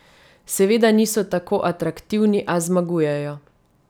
Seveda niso tako atraktivni, a zmagujejo.